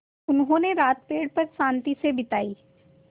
उन्होंने रात पेड़ पर शान्ति से बिताई